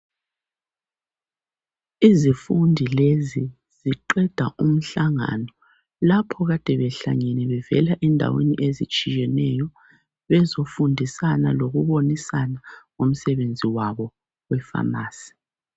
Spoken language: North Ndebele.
Izifundi lezi ziqeda umhlangano lapho kade behlangene bevela ezindaweni ezitshiyeneyo bezofundisana lokubonisana ngomsebenzi wabo weFamasi.